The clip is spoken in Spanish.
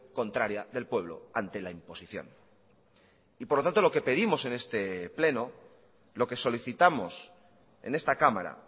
contraria del pueblo ante la imposición y por lo tanto lo que pedimos en este pleno lo que solicitamos en esta cámara